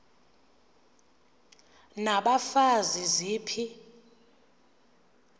n abafazi ziphi